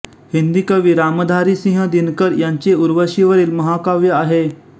हिन्दी कवी रामधारीसिंह दिनकर यांचे उर्वशीवरील महाकाव्य आहे